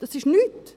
– Das ist nichts.